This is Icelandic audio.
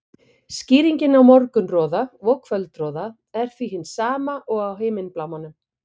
Skýringin á morgunroða og kvöldroða er því hin sama og á himinblámanum.